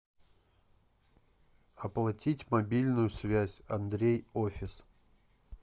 оплатить мобильную связь андрей офис